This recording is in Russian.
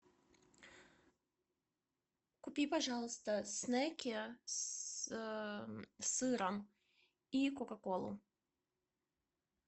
купи пожалуйста снеки с сыром и кока колу